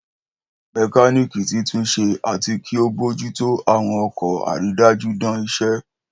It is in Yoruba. Mẹkáníìkì titunṣe ati ki o bojuto awọn ọkọ, aridaju dan isẹ.